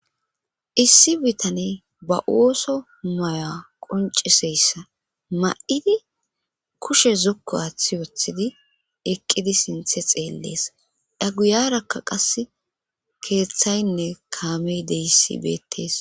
issi bitane ba ooso maya qonciseyssa ma7idi kushe zokku aaththi wothidi eqqidi sinthe xeellees dha guyarakka qase keeththaynne kaamey deyissi beettes